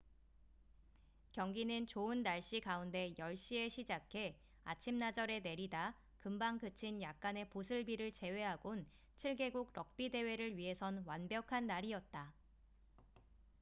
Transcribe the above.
경기는 좋은 날씨 가운데 10시에 시작해 아침나절에 내리다 금방 그친 약간의 보슬비를 제외하곤 7개국 럭비 대회를 위해선 완벽한 날이었다